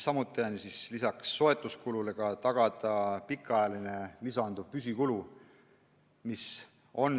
Samuti tuleb lisaks soetuskulule tagada ka pikaajaline püsikulu.